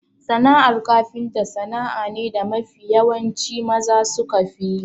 Sana'ar kafinta sana'a ne da mafi yawanci maza sukafi yi.